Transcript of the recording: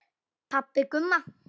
Pabbi Gumma!